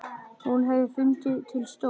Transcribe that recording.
Hún hefði fundið til stolts.